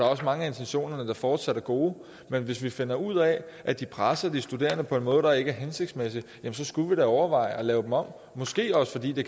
også mange af intentionerne der fortsat er gode men hvis vi finder ud af at de presser de studerende på en måde der ikke er hensigtsmæssig så skulle vi da overveje at lave dem om måske også fordi det